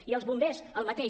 i els bombers el mateix